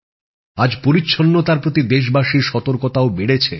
আজ পরিচ্ছন্নতার প্রতি দেশবাসীর সতর্কতাও বেড়েছে